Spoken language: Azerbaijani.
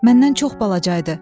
Məndən çox balaca idi.